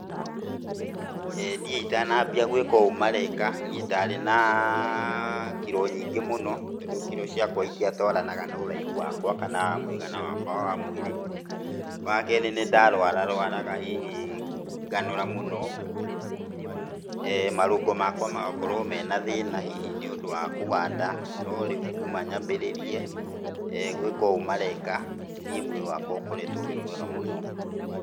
Niĩ itanambĩrĩria gũĩka ũũ mareka, niĩ ndarĩ na kĩro nyingĩ mũno. Tondũ kiro ciakwa cĩtiatwaranaga na ũraihu wakwa, kana mũigana wakwa wa mwĩrĩ. Wakerĩ nĩ ndarwara rũaraga, nganora mũno, marũngo makwa magakorwo na thĩna mũno, hihi nĩ ũndũ wa kũganda. No rĩũ kuuma nyambĩrĩrie gwĩka ũũ mareka, niĩ mwĩrĩ wakwa ũkoretwo wĩ mwega mũno.